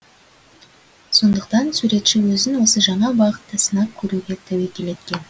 сондықтан суретші өзін осы жаңа бағытта сынап көруге тәуекел еткен